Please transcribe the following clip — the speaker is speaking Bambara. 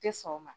Tɛ sɔn o ma